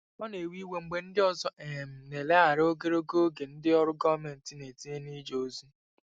Ọ na-ewe iwe mgbe ndị ọzọ um na-eleghara ogologo oge ndị ọrụ gọọmentị na-etinye n'ije ozi.